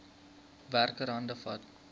werker hande vat